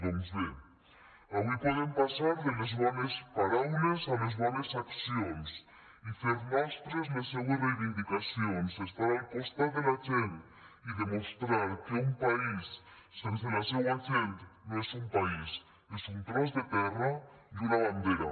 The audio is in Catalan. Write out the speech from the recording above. doncs bé avui podem passar de les bones paraules a les bones accions i fer nostres les seues reivindicacions estar al costat de la gent i demostrar que un país sense la seua gent no és un país és un tros de terra i una bandera